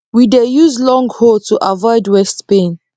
we dey use long hoe to avoid waist pain